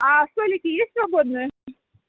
столики есть свободное